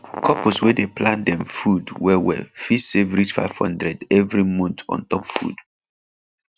couples wey dey plan dem food well well fit save reach 500 every month on top food